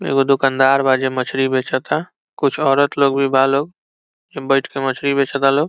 एगो दुकानदार बा जे मछली बेचता कुछ औरत लोग भी बा लोग हइ बईठ के लोग मछली बेच ता लोग।